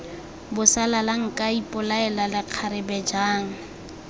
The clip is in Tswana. bosalala nka ipolaela lekgarebe jang